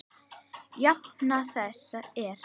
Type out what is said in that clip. Jafna þess er